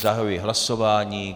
Zahajuji hlasování.